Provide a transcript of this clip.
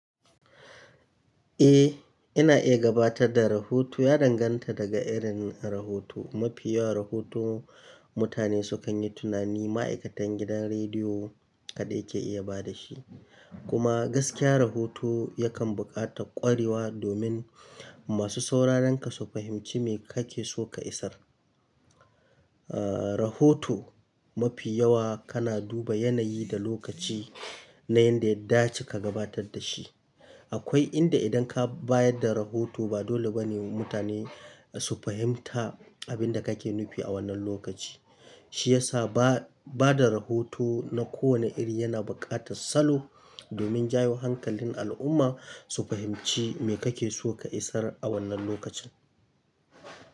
Eh, ina iya gabatar da rahoto ya danganta daga irin rahoto. Mafi yawan rahoto mutane sukan yi tunani ma'aikatan gidan rediyo kaɗai ke iya bada shi. Kuma gaskiya rahoto yakan buƙata ƙwarewa domin masu sauraron ka su fahimci me kake so ka isar. Aaa rahoto mafi yawa kana duba yanayi da lokaci na inda ya dace ka gabatar da shi. Akwai inda idan ka bayar da rahoto ba dole bane mutane su fahimta abin da kake nufi a wannan lokaci. Shi ya sa ba-bada rahoto na kowane iri yana buƙatar salo domin jawo hankalin al'umma su fahimci me kake so ka isar a wannan lokacin.